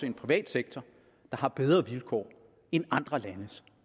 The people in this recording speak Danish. en privat sektor der har bedre vilkår end andre landes